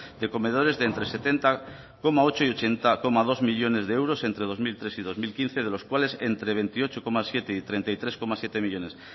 de comedores de entre setenta coma ocho y ochenta coma dos millónes de euros entre dos mil tres y dos mil quince de los cuales entre veintiocho coma siete y treinta y tres coma siete millónes